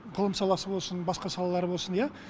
ғылым саласы болсын басқа салалары болсын иә